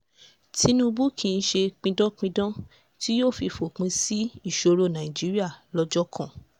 tinubu kì í ṣe pidánpidán tí yóò fòpin sí ìṣòro nàìjíríà lọ́jọ́ kan